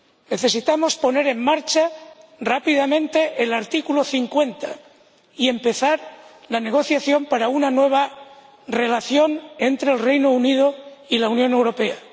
Necesitamos poner en marcha rápidamente el artículo 50 y empezar la negociación para una nueva relación entre el Reino Unido y la Unión Europea.